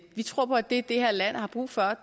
vi tror på at det det her land har brug for